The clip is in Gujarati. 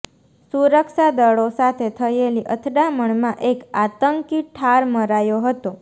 સુરક્ષાદળો સાથે થયેલી અથડામણમાં એક આતંકી ઠાર મરાયો હતો